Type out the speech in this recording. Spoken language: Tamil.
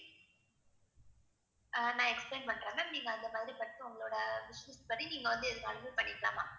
ஆஹ் நான் explain பண்றேன் ma'am நீங்க அந்த உங்களுடைய wishes படி நீங்க வந்து எதுவானாலுமே பண்ணிக்கலாம் ma'am